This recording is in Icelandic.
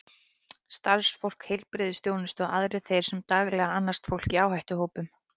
Starfsfólk heilbrigðisþjónustu og aðrir þeir sem daglega annast fólk í áhættuhópum.